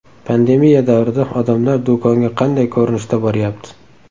Pandemiya davrida odamlar do‘konga qanday ko‘rinishda boryapti?